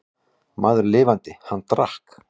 Maður lifandi, hann drakk.